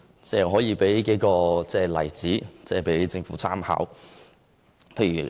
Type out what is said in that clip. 我可以列舉例子供政府參考。